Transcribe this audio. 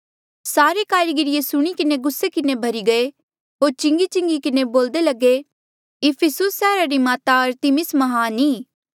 सारे कारीगर ये सुणी किन्हें गुस्से किन्हें भर्ही गये होर चिंगी चिंगी किन्हें बोल्दे लगे इफिसुस सैहरा री माता अरतिमिस म्हान ई